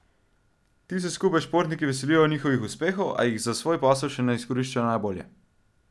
Ti se skupaj s športniki veselijo njihovih uspehov, a jih za svoj posel še ne izkoriščajo najbolje.